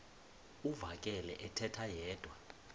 uvakele ethetha yedwa